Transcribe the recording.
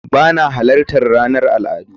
Ba na halartar ranar al'adu